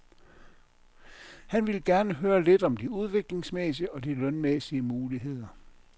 Han ville gerne høre lidt om de udviklingsmæssige og de lønmæssige muligheder.